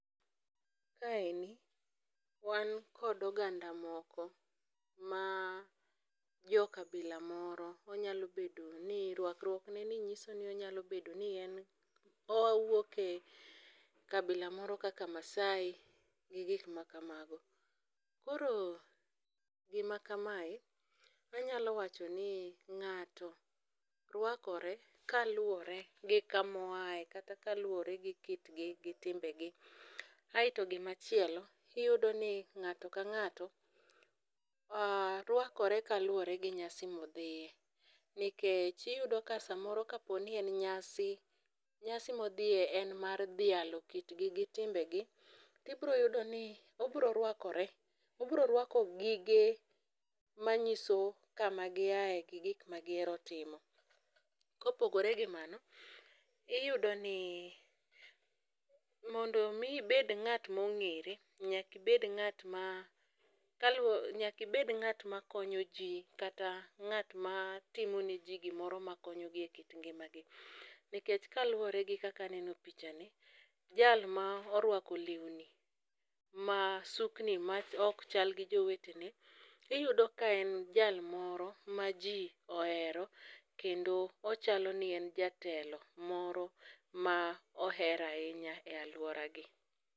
Ka endi, wan kod oganda moko ma jo kabila moro onyalo bedo ni ,rwakruokneni nyiso ni onyalo bedo ni en owuok e kabila moro kaka maasai gi gik makamago. Koro gima kamae, anyalo wacho ni ng'ato rwakore kaluwore gi kama oyae kata kaluwore gi kitgi gi timbegi. Aito gimachielo, iyudo ni ng'ato ka ng'ato rwakore kaluwore gi nyasi modhiye .Nikech iyudo ka samoro ka poni en nyasi ,nyasi modhiye en mar dhialo kitgi gi timbegi, tibro yudo ni obro rwakore , obro rwako gige manyiso kama giyae gi gik ma gihero timo. Kopogore gi mano, iyudo ni mondo mi ibed ng'at ma ong'ere, nyaka ibed ng'at ma, nyaka ibed ng'at makonyo jii kata ng'at matimone jii gimoro ma konyogi e kit ngimagi. Nikech kaluwore gi kaka aneno pichani, jal ma orwako lewni, ma sukni ma ok chal gi jowetene, iyudo ka en jal moro ma ji ohero kendo ochalo ni en jatelo moro ma oher ahinya e alworagi.